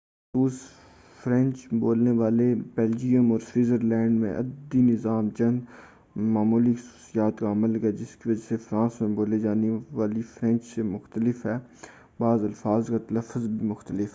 بالخصوص فرینچ بولنے والے بلجیم اور سوئزرلینڈ میں عددی نظام چند معمولی خصوصیات کا حامل ہے جس کی وجہ سے وہ فرانس میں بولی جانے والی فرینچ سے مختلف ہے اور بعض الفاظ کا تلفظ بھی مختلف ہے